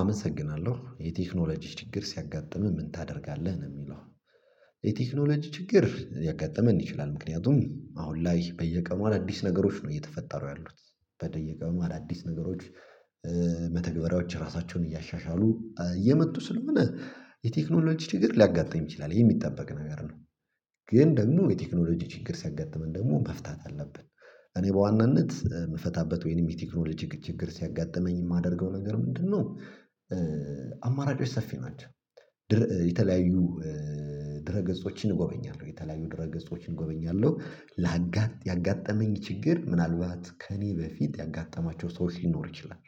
አመሰግናለሁ የቴክኖሎጂ ችግር ሲያጋጥምህ ምን ታደርጋለህ ነው? የሚለው የቴክኖሎጂ ችግር ሊያጋጥመን ይችላል ምክንያቱም አሁን ላይ በየቀኑ አዳዲስ ነገሮች ነው እየተፈጠሩ ያሉት በየቀኑ አዳዲስ ነገሮች መተግበሪያዎች ራሳቸውን እያሻሻሉ እየመጡ ስለሆነ የቴክኖሎጂ ችግር ሊያጋጥም ይችላል የሚጠበቅ ነገር ነው። ግን ደግሞ የቴክኖሎጂ ችግር ሲያጋጥመን ደግሞ መፍታት አለብን። እኔ በዋናነት የምፈታበት ወይንም የቴክኖሎጂ ችግር ሲያጋጥመኝ የማደርገው ነገር ምንድነው? አማራጮች ሰፊ ናቸው። የተለያዩ ድህረ ገጾችን እጎበኛለሁ የተለያዩ ድህረ ገጾችን እጎበኛለሁ። ያጋጠመኝ ችግር ምናልባት ከእኔ በፊት ያጋጠማቸው ሰዎች ሊኖሩ ይችላል።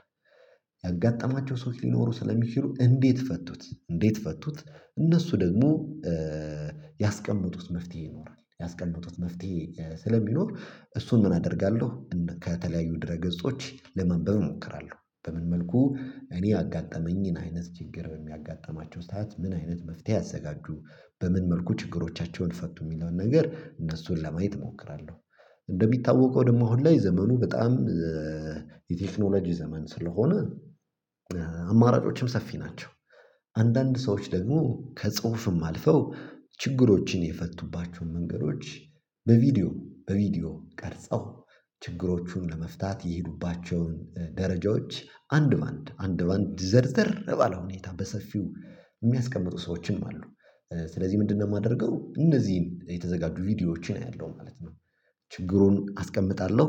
ያጋጠማቸው ሰዎች ሊኖሩ ስለሚችሉ እንዴት ፈቱት እንዴት ፈቱት? እነሱ ደግሞ ያስቀመጡት መፍትሄ ይኖራል ያስቀመጡት መፍትሄ ስለሚኖር እሱን ምን አደርጋለሁ? ከተለያዩ ድህረ ገጾች ለማንበብ እሞክራለሁ በምን መልኩ እኔ ያጋጠመኝን አይነት ችግር በሚያጋጥማቸው ሰዓት ምን አይነት መፍትሄ አዘጋጁ በምን መልኩ ችግሮቻቸውን ፈቱ የሚለውን ነገር እነሱን ለማየት እሞክራለሁ። እንደሚታወቀው ደግሞ አሁን ላይ ዘመኑ በጣም የቴክኖሎጂ ዘመን ስለሆነ አማራጮችም ሰፊ ናቸው። አንዳንድ ሰዎች ደግሞ ከጽሁፍም አልፈው ችግሮችን የፈቱባቸውን መንገዶች በቪዲዮ በቪዲዮ ቀርጸው ችግሮቹን ለመፍታት የሄዱባቸውን ደረጃዎች አንድ በአንድ አንድ በአንድ ዘርዘር ባለው ሁኔታ በሰፊው የሚያስቀምጡ ሰዎችም አሉ። ስለዚህ ምንድነው የማደርገው እነዚህን የተዘጋጁ ቪዲዮዎችን አያለሁም ማለት ነው። ችግሩን አስቀምጣለሁ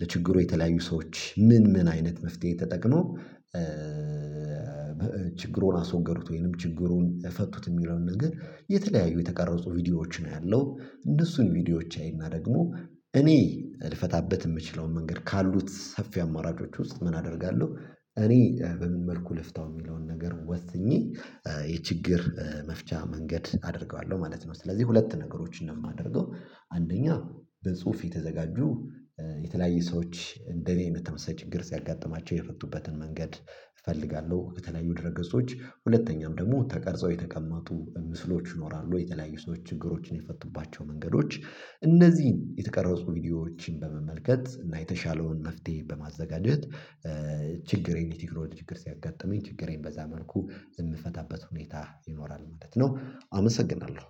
ለችግሩ የተለያዩ ሰዎች ምን ምን አይነት መፍትሄ ተጠቅመው ችግሩን አስወገዱት ወይንም ችግሩን ፈቱት የሚለውን ነገር የተለያዩ የተቀረጹ ቪዲዮዎችን አያለው እነሱን ቪዲዮዎች አይና ደግሞ እኔ ልፈታበት የምችለውን መንገድ ካሉት ሰፊ አማራጮች ውስጥ ምን አደርጋለሁ? እኔ በምን መልኩ ልፍታው የሚለውን ነገር ወስኜ የችግር መፍቻ መንገድ አደርገዋለሁ ማለት ነው። ስለዚህ ሁለት ነገሮችን ነው የማደርገው አንደኛ በጽሁፍ የተዘጋጁ የተለያዩ ሰዎች እንደኔ በተመሳሳይ ችግር ሲያጋጥማቸው የፈቱበትን መንገድ እፈልጋለሁ። ከተለያዩ ድህረገጾች ሁለተኛም ደግሞ ተቀርጸው የተቀመጡ ምስሎች ይኖራሉ የተለያዩ ሰዎች ችግሮችን የፈቱባቸው መንገዶች እነዚህን የተቀረጹ ቪዲዮዎችን በመመልከት እና የተሻለውን መፍትሄ በማዘጋጀት ችግሬን የቴክኖሎጂ ችግር ሲያጋጥመኝ ችግሬን በዛ መልኩ የምፈታበት ሁኔታ ይኖራል ማለት ነው። አመሰግናለሁ